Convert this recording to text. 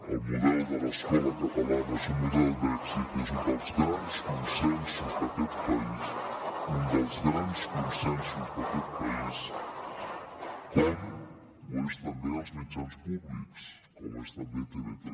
el model de l’escola catalana és un model d’èxit és un dels grans consensos d’aquest país un dels grans consensos d’aquest país com ho són també els mitjans públics com ho és també tv3